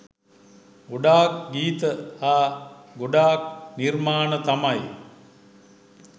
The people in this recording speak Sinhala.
ගොඩක් ගීත හා ගොඩක් නිර්මාණ තමයි